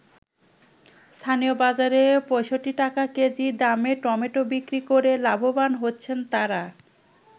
স্থানীয় বাজারে ৬৫ টাকা কেজি দামে টমেটো বিক্রি করে লাভবান হচ্ছেন তারা।